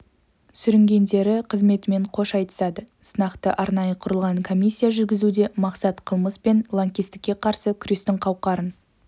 сүрінгендері қызметімен қош айтысады сынақты арнайы құрылған комиссия жүргізуде мақсат қылмыс пен лаңкестікке қарсы күрестің қауқарын